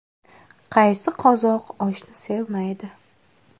Qaysi qozoq oshni sevmaydi?